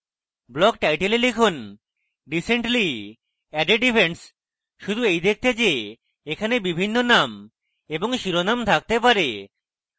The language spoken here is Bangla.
block title a লিখুন recently added events শুধু in দেখতে যে এখানে ভিন্ন name এবং শিরোনাম থাকতে পারে